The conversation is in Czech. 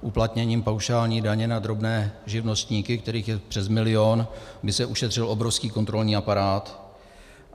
uplatněním paušální daně na drobné živnostníky, kterých je přes milion, by se ušetřil obrovský kontrolní aparát.